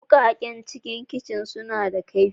Wukakan kicin suna da kaifi.